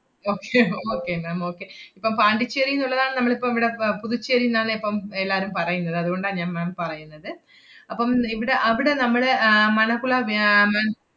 പക്ഷെ okay ma'am okay ഇപ്പം പോണ്ടിച്ചേരിന്ന് ഉള്ളതാണ് നമ്മളിപ്പം ഇവടെ പ~ പുതുച്ചേരിന്നാണ് ഇപ്പം എല്ലാരും പറയുന്നത്. അതുകൊണ്ടാ ഞാ~ ma'am പറയുന്നത്. അപ്പം ഇവടെ അവടെ നമ്മടെ ആഹ് മണകുള വ്യാ~ ആഹ്